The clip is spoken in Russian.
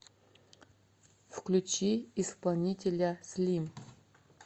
включи исполнителя слим